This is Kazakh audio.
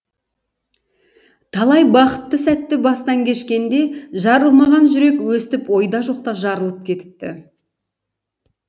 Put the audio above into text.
талай бақытты сәтті бастан кешкенде жарылмаған жүрек өстіп ойда жоқта жарылып кетіпті